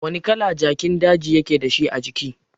Wani kala jakin daji yake dashi ajiki?